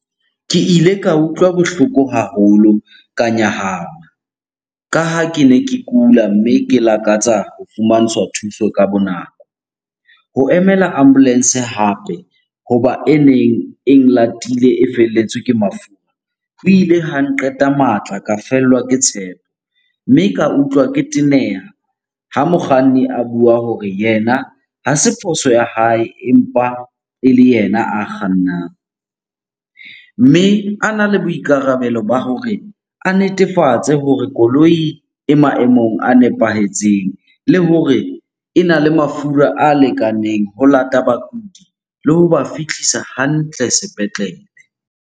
Ke ile ka utlwa bohloko haholo, ka nyahama. Ka ha kene ke kula mme ke lakatsa ho fumantshwa thuso ka bo nako. Ho emela ambulance hape, hoba e neng e nlatile e felletswe ke mafura, ho ile ha nqeta matla ka fellwa ke tshepo. Mme ka utlwa ke teneha ha mokganni a bua hore yena ha se phoso ya hae empa ele yena a kgannang. Mme ana le boikarabelo ba hore a netefatse hore koloi e maemong a nepahetseng le hore ena le mafura a lekaneng ho lata bakudi le ho ba fihlisa hantle sepetlele.